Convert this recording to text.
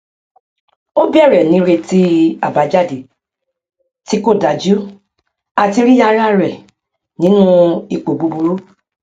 o bẹrẹ ní retí àbájáde tí kò dájú àti rí ara rẹ nínú ipò burú